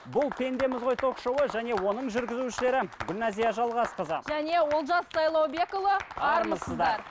бұл пендеміз ғой ток шоуы және оның жүргізушілері гүлназия жалғасқызы және олжас сайлаубекұлы армысыздар